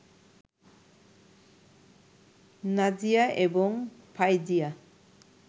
নাজিয়া এবং ফাইজিয়া